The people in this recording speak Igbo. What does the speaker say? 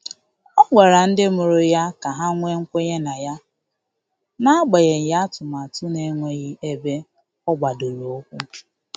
Ọ gwara ndị mụrụ ya ka ha nwee kwenye na ya, n'agbanyeghị atụmatụ na-enweghị ebe ọ gbadoro ụkwụ.